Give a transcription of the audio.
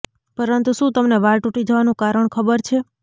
પરંતુ શું તમને વાળ તૂટી જવાનું કારણ ખબર છે